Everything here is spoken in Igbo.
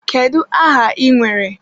Kedu aha ị nwere?